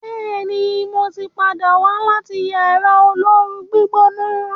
béèni mọ tí pàdà wá láti Yàrá olóoru-gbígbóná.